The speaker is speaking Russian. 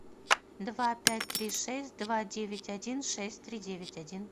два пять три шесть два девять один шесть три девять один